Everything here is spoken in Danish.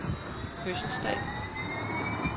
fødselsdag